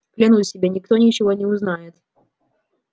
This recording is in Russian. клянусь тебе никто ничего не узнает